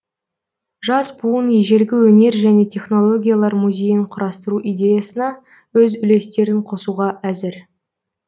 жас буын ежелгі өнер және технологиялар музейін құрастыру идеясына өз үлестерін қосуға әзір